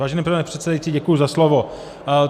Vážený pane předsedající, děkuji za slovo.